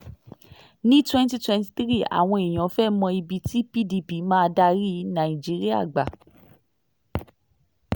ní twenty twenty three àwọn èèyàn fẹ́ẹ mọ ibi tí pdp máa darí nàìjíríà gbà